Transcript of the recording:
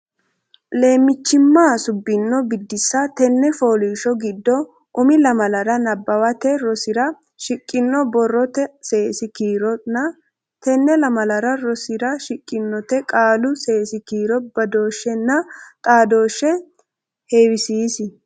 Leemmichimma subbino Biddissa Tenne fooliishsho giddo umi lamalara nabbawate rosira shiqqino borrote seesi kiironna tenne lamala rosira shiqqinote qaalu seesi kiiro badooshshenna xaadooshshe heewisiisi.